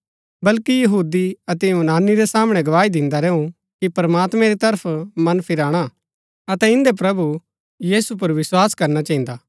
बल्कि यहूदी अतै यूनानी रै सामणै गवाही दिन्दा रैऊ कि प्रमात्मैं री तरफ मन फिराणा अतै इन्दै प्रभु यीशु पुर विस्वास करना चहिन्दा